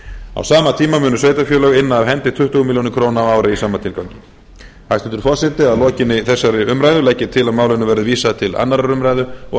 á sama tíma munu sveitarfélög inna af hendi tuttugu milljónir króna á ári í sama tilgangi hæstvirtur forseti að lokinni þessari umræðu legg ég til að málinu verði vísað til annarrar umræðu og